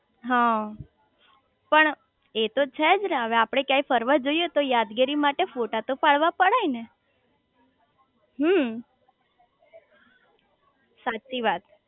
હ પણ એ તો છેજ ને હવે આપડે ક્યાંય ફરવા જઇયે તો યાદગીરી માટે ફોટા તો પાડવાજ પડે ને હમ્મ સાચી વાત